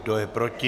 Kdo je proti?